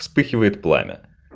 вспыхивает пламя